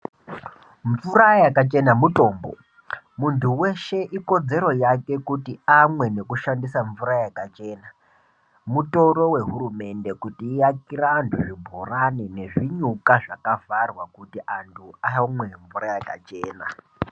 Mvura yakachena mutombo muntu weshe ikodzero yake kuti amwe nekushandisa mvura yakachena mutoro wehurumende kuti iakire antu zvibhorani nezvinyuka zvakavharwa kuti antu amwe mvura yakachena.